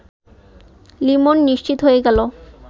লিমন নিশ্চিত হয়ে গেল